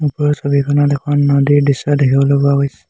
ওপৰৰ ছবিখনত এখন নদীৰ দৃশ্য দেখিবলৈ পোৱা গৈছে।